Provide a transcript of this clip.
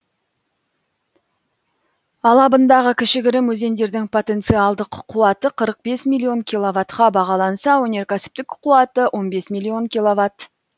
алабындағы кішігірім өзендердің потенциалдық қуаты қырық бес миллион киловаттқа бағаланса өнеркәсіптік қуаты он бес миллион киловатт